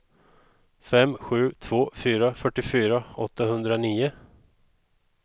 fem sju två fyra fyrtiofyra åttahundranio